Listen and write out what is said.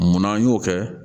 Munna an y'o kɛ